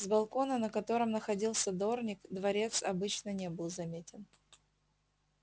с балкона на котором находился дорник дворец конечно не был заметен